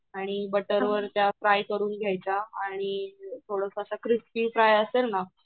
आणि बटर वर त्या फ्राय करू घेयायच्या आणि अ थोडं असं क्रिस्पी फ्राय असेल ना